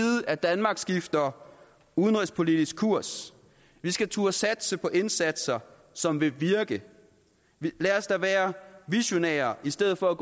at danmark skifter udenrigspolitisk kurs vi skal turde satse på indsatser som vil virke lad os da være visionære i stedet for at